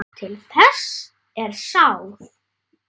Til þess er sáð.